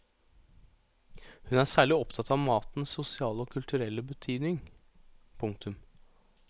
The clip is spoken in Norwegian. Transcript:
Hun er særlig opptatt av matens sosiale og kulturelle betydning. punktum